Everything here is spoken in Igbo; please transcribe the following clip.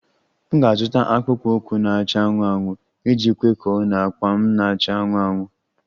M ga-azụta akpụkpọ ụkwụ na-acha anụnụ anụnụ iji kwekọọ na akpa m na-acha anụnụ anụnụ